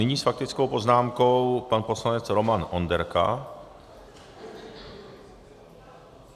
Nyní s faktickou poznámkou pan poslanec Roman Onderka.